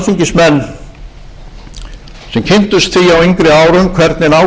árum hvernig ágreiningur um tengslin við